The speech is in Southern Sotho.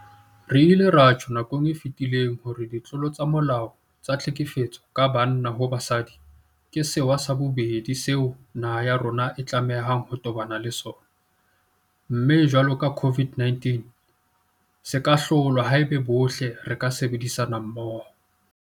Re ile ra tjho nakong e fetileng hore ditlolo tsa molao tsa tlhekefetso ka banna ho basadi ke sewa sa bobedi seo naha ya rona e tlamehang ho tobana le sona, mme jwalo ka COVID-19 se ka hlolwa haeba bohle re ka sebedisana mmoho.